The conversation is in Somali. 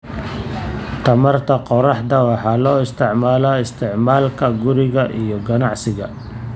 Tamarta qorraxda waxaa loo isticmaalaa isticmaalka guriga iyo ganacsiga.